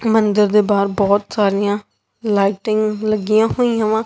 ਮੰਦਿਰ ਦੇ ਬਾਹਰ ਬਹੁਤ ਸਾਰੀਆਂ ਲਾਈਟਿੰਗ ਲੱਗੀਆਂ ਹੋਈਆਂ ਵਾ।